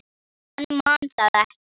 Hann man það ekki.